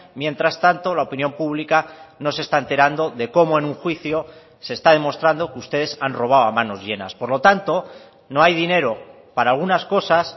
mientras tanto la opinión pública no se está enterando de cómo en un juicio se está demostrando que ustedes han robado a manos llenas por lo tanto no hay dinero para algunas cosas